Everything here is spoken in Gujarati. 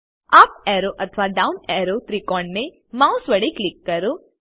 અપ એરો અથવા ડાઉન એરો ત્રિકોણ ને માઉસ વડે ક્લિક કરો